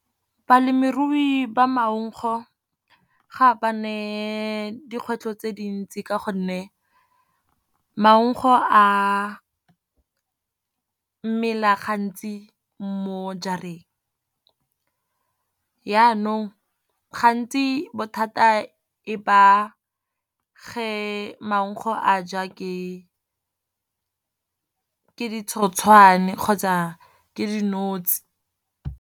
Balemirui ba maugo dikgwetlho tse dintsi ka gonne, maungo a mela gantsi mo jarang. Janong gantsi bothata e ba ge maugo a ja ke ditshoswane kgotsa ke dinotshi.